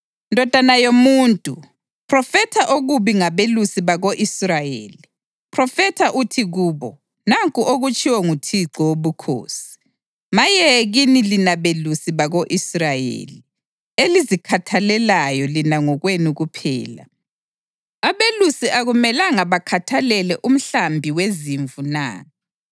“Ndodana yomuntu, phrofetha okubi ngabelusi bako-Israyeli; phrofetha uthi kubo: ‘Nanku okutshiwo nguThixo Wobukhosi: Maye kini lina belusi bako-Israyeli elizikhathalelayo lina ngokwenu kuphela! Abelusi akumelanga bakhathalele umhlambi wezimvu na?